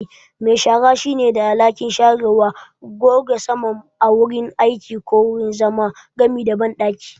Me shara shine da alhakin sharewa, goge saman a wurin aiki ko wurin zama, gami da banɗaki.